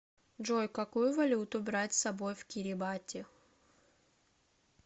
джой какую валюту брать с собой в кирибати